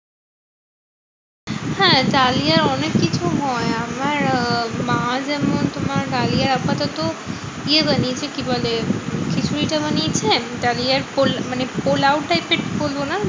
হ্যাঁ ডালিয়া অনেককিছু হয়। আমার আহ মা যেমন তোমার ডালিয়া আপাতত ইয়ে বানিয়েছে কি বলে? খিচুড়িটা বানিয়েছে ডালিয়ার পোল মানে পোলাও type টা বলবো না